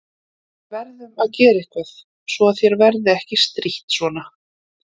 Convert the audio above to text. Við verðum að gera eitthvað svo að þér verði ekki strítt svona.